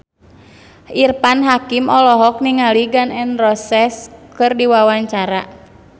Irfan Hakim olohok ningali Gun N Roses keur diwawancara